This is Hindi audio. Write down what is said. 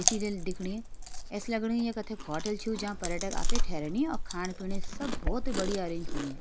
ये सीरियल देखणी ऐसे लगणी ये एक होटल छू जहाँ पर्यटक आके ठहरनी अ-खाणं पीयूंण सब भोत बढ़िया अरेंज होणीय।